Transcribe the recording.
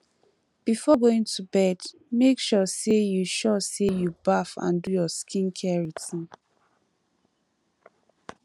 before going to bed make sure say you sure say you baff and do your skin care routine